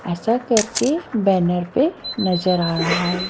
ऐसा करके बैनर पे नजर आ रहा है।